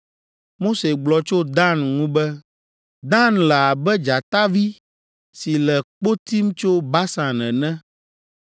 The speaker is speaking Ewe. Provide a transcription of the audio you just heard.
Mose gblɔ tso Dan ŋu be, “Dan le abe dzatavi si le kpo tim tso Basan ene.”